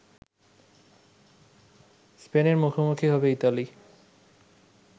স্পেনের মুখোমুখি হবে ইতালি